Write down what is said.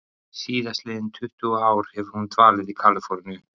Síðastliðin tuttugu ár hefur hún dvalið í Kaliforníu.